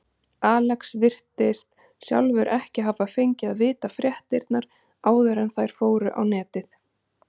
Alex virðist sjálfur ekki hafa fengið að vita fréttirnar áður en þær fóru á netið.